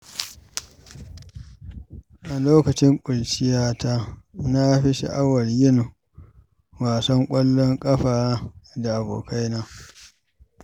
A lokacin ƙuruciyata, na fi sha’awar yin wasan ƙwallon ƙafa da abokaina.